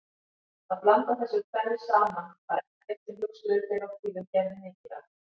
Að blanda þessu tvennu saman var ekkert sem hugsuðir fyrr á tíðum gerðu mikið af.